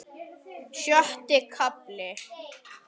Sjötti kafli